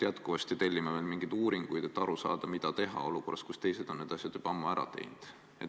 Ja tellime veel mingeid uuringuid, et aru saada, mida teha olukorras, kus teised on need asjad juba ammu ära teinud.